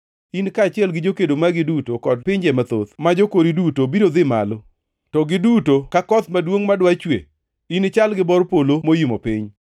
In kaachiel gi jokedo magi duto kod pinje mathoth ma jokori duto biro dhi malo, ka gidudo ka koth maduongʼ madwa chue; inichal gi bor polo moimo piny.